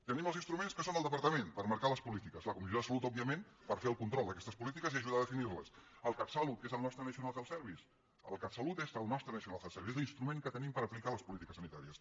tenim els instruments que són el departament per marcar les polítiques la comissió de salut òbviament per fer el control d’aquestes polítiques i ajudar a definir les el catsalut que és el nostre national health service el catsalut és el nostre national health service és l’instrument que tenim per aplicar les polítiques sanitàries